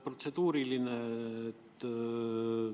Protseduuriline küsimus.